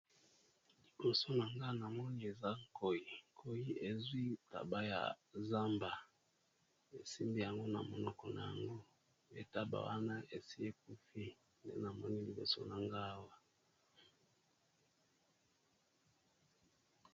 Liiboso na nga na moni eza Nkoy ezwi taba ya zamba , e simbi yango na monoko na yango, taba wana esi e kufi, nde na moni liboso na nga awa .